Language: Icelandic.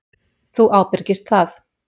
Þú ábyrgist það.